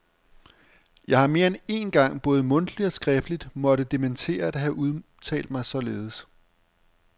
Jeg har mere end én gang både mundtligt og skriftligt måtte dementere at have udtalt mig således.